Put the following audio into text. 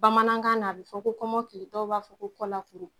Bamanankan na a bi fɔ ko kɔmɔkili dɔw b'a fɔ ko kɔla kuru.